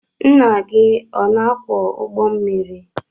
Ńnà gị ọ na akwọ ụgbọ mmiri?